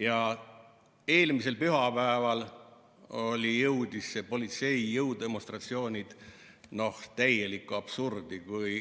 Ja eelmisel pühapäeval jõudis see politsei jõudemonstratsioon täielikku absurdi, kui